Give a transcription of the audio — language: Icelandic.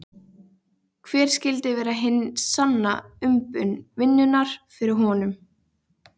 Hver skyldi vera hin sanna umbun vinnunnar fyrir honum?